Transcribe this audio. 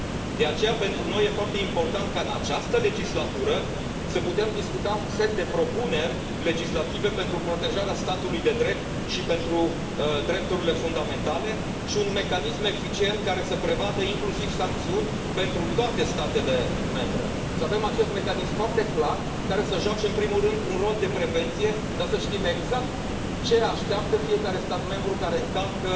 De aceea, pentru noi este foarte important ca în această legislatură să putem discuta un set de propuneri legislative pentru protejarea statului de drept și pentru drepturile fundamentale și un mecanism eficient care să prevadă inclusiv sancțiuni pentru toate statele membre, să avem acest mecanism foarte clar care să joace în primul rând un rol de prevenție, dar să știm exact ce așteaptă fiecare stat membru care încalcă